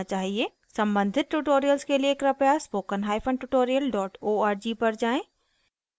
सम्बंधित tutorials के लिए कृपया spoken hyphen tutorial dot org पर जाएँ